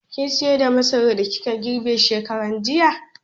Kin sayar da masaran da kika girbe shekaran jiya?